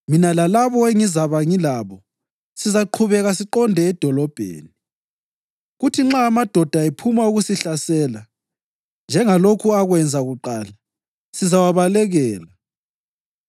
Mina lalabo engizabe ngilabo sizaqhubeka siqonde edolobheni, kuthi nxa amadoda ephuma ukusihlasela njengalokho akwenza kuqala, sizawabalekela.